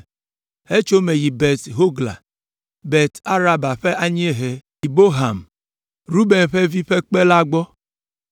hetso eme yi Bet Hogla, Bet Araba ƒe anyiehe yi Bohan, Ruben ƒe vi ƒe kpe la gbɔ.